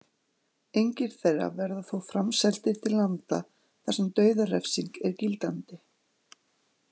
Engir þeirra verði þó framseldir til landa þar sem dauðarefsing er gildandi.